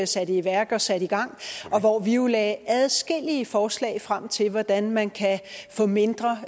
satte i værk og satte i gang og hvor vi jo lagde adskillige forslag frem til hvordan man kan få mindre